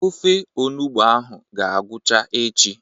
Ofe onụgbọ ahụ ga-agwụcha echi.